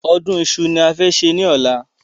Ọdún Iṣu ni a fẹ́ ṣe ni ọ̀la